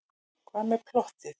Hvað með plottið?